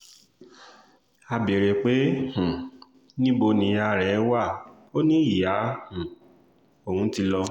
a béèrè pé um níbo níyà rẹ̀ wá ò ní ìyá um òun ti lọ